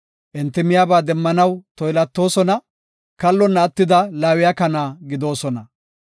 Enti miyaba demmanaw toylatoosona; kallona attida laawiya kana gidoosona.